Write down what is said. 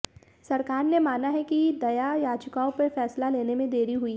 सरकार ने माना है कि दया याचिकाओं पर फैसला लेने में देरी हुई है